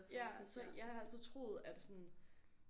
Ja så jeg har altid troet at sådan